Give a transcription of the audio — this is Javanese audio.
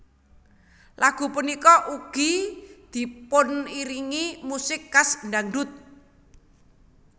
Lagu punika ugi dipuniringi musik khas dhangdhut